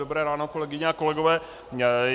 Dobré ráno, kolegyně a kolegové.